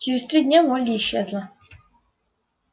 через три дня молли исчезла